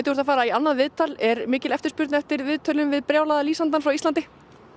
þú ert að fara í annað viðtal er mikil eftirspurn eftir viðtölum við brjálaða lýsandann frá Íslandi